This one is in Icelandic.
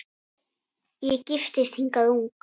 Ég giftist hingað ung